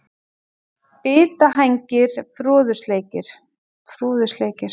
Bitahængir, Froðusleikir,